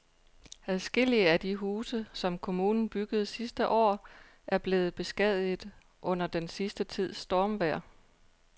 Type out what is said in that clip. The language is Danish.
Adskillige af de huse, som kommunen byggede sidste år, er blevet beskadiget under den sidste tids stormvejr.